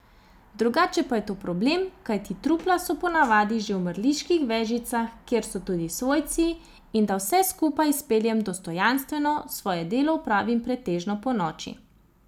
Drugače pa je to problem, kajti trupla so po navadi že v mrliških vežicah, kjer so tudi svojci, in da vse skupaj izpeljem dostojanstveno, svoje delo opravim pretežno ponoči.